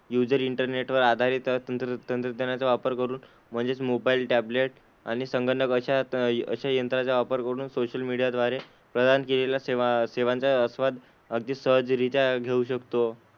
User इंटरनेटवर आधारित तंत्र तंत्रज्ञानाचा वापर करून म्हणजेच मोबाईल, टॅबलेट आणि संगणक अशा अशा यंत्रांचा वापर करून सोशल मीडिया द्वारे प्रदान केलेल्या सेवा सेवांचा आस्वाद अगदी सहज रित्या घेऊ शकतो.